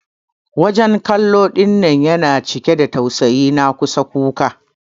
wajen kallo dinnan yana cike da tausayi na kusan kuka.